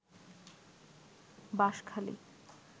Banshkhali